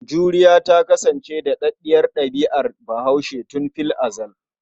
Juriya ta kasance daɗaɗɗiyar ɗabi'ar Bahaushe tun fil azal.